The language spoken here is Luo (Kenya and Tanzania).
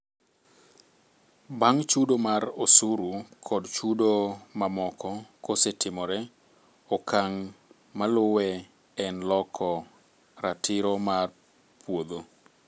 Bang' chudo mar osuru kod chudo mamoko kosetimore, okang' maluwe en loko ratiro mar puodho